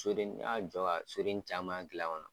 Soden n y'a jɔ ka soden caman gilan kɔnɔ